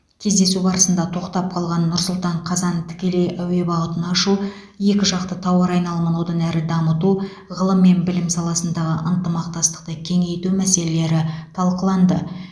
кездесу барысында тоқтап қалған нұр сұлтан қазан тікелей әуе бағытын ашу екі жақты тауар айналымын одан әрі дамыту ғылым мен білім саласындағы ынтымақтастықты кеңейту мәселелері талқыланды